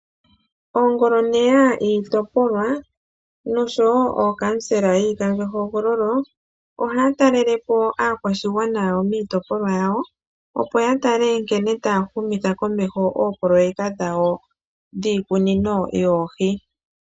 Oongoloneya yiitopolwa noshowo ookamusela yiikandjohogololo, ohaya talele po aakwashigwana miitopolwa yawo, opo ya tale nkene taya humitha komeho oopoloyeka dhawo dhiikunino yoohi.